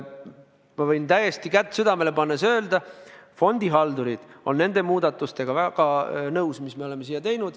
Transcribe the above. Ma võin täiesti kätt südamele pannes öelda, et fondihaldurid on nende muudatustega väga nõus, mis me oleme teinud.